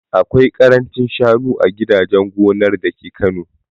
Akwai karancin shanu a gidajen gonar dake Kano